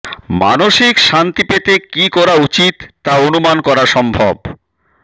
মানসিক শান্তি পেতে কী করা উচিৎ তা অনুমান করা সম্ভব